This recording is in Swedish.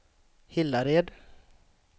Hillared